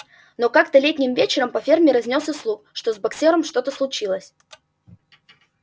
но как-то летним вечером по ферме разнёсся слух что с боксёром что-то случилось